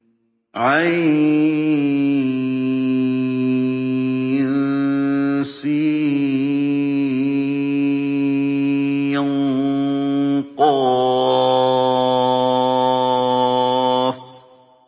عسق